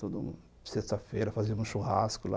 Toda sexta-feira fazíamos churrasco lá.